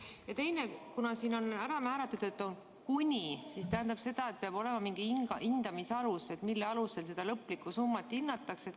Ja teiseks, kuna siin on öeldud "kuni", siis kas see tähendab, et peab olema mingi hindamise alus, mille põhjal seda lõplikku summat hinnatakse?